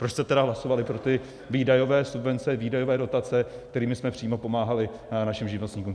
Proč jste tedy hlasovali pro ty výdajové subvence, výdajové dotace, kterými jsme přímo pomáhali našim živnostníkům?